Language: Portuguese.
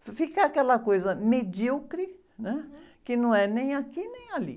fica aquela coisa medíocre, né? Que não é nem aqui nem ali.